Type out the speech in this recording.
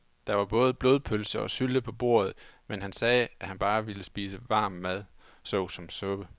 Der var både blodpølse og sylte på bordet, men han sagde, at han bare ville spise varm mad såsom suppe.